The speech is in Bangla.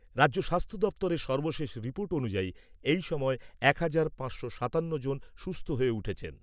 রাজ্য স্বাস্থ্য দফতরের সর্বশেষ রিপোর্ট অনুযায়ী এই সময় এক হাজার পাঁচশো সাতান্ন জন সুস্থ হয়ে উঠেছেন।